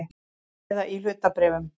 Eða í hlutabréfum.